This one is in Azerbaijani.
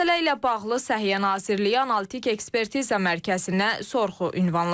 Məsələ ilə bağlı Səhiyyə Nazirliyi Analitik Ekspertiza Mərkəzinə sorğu ünvanladıq.